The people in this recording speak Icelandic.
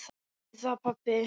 Gerðu það pabbi!